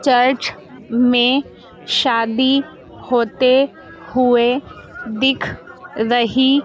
church में शादी होते हुए दिख रही--